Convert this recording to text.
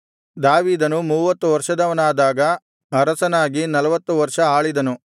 ದಾವೀದನು ಮೂವತ್ತು ವರ್ಷದವನಾದಾಗ ಅರಸನಾಗಿ ನಲ್ವತ್ತು ವರ್ಷ ಆಳಿದನು